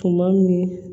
Tuma min